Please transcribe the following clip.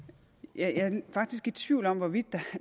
jeg er faktisk i tvivl om hvorvidt